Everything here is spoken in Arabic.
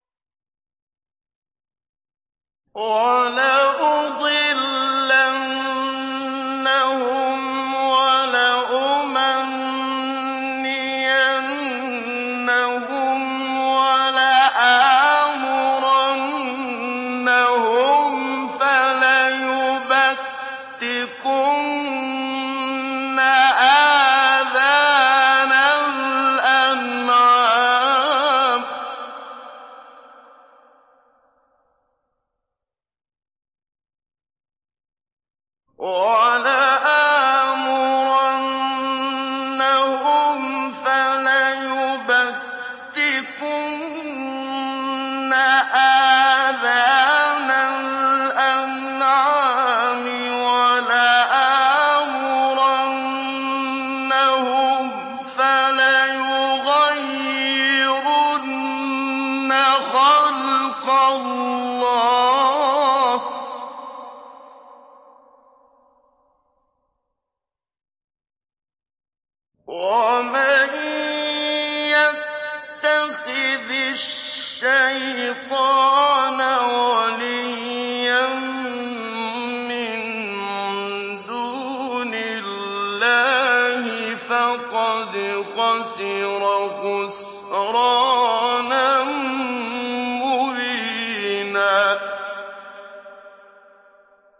وَلَأُضِلَّنَّهُمْ وَلَأُمَنِّيَنَّهُمْ وَلَآمُرَنَّهُمْ فَلَيُبَتِّكُنَّ آذَانَ الْأَنْعَامِ وَلَآمُرَنَّهُمْ فَلَيُغَيِّرُنَّ خَلْقَ اللَّهِ ۚ وَمَن يَتَّخِذِ الشَّيْطَانَ وَلِيًّا مِّن دُونِ اللَّهِ فَقَدْ خَسِرَ خُسْرَانًا مُّبِينًا